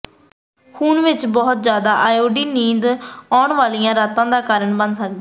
ਖ਼ੂਨ ਵਿਚ ਬਹੁਤ ਜ਼ਿਆਦਾ ਐਡਰੇਨਾਲੀਨ ਨੀਂਦ ਆਉਣ ਵਾਲੀਆਂ ਰਾਤਾਂ ਦਾ ਕਾਰਨ ਬਣ ਸਕਦੀ ਹੈ